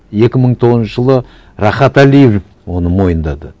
екі мың тоғызыншы жылы рахат әлиев оны мойындады